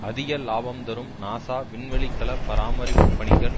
அதிக லாபம் தரும் நாசா விண்வெளிக்கல பராமரிப்பு பணிகள்